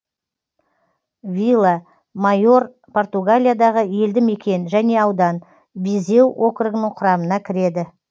вила майор португалиядағы елді мекен және аудан визеу округінің құрамына кіреді